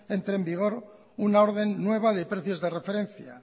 entre en vigor una orden nueva de precios de referencia